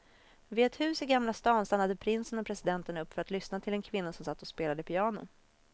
Vid ett hus i gamla stan stannade prinsen och presidenten upp för att lyssna till en kvinna som satt och spelade piano.